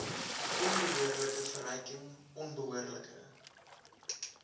onbehoorlike verryking onbehoorlike